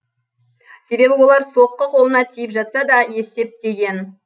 себебі олар соққы қолына тиіп жатса да есептеген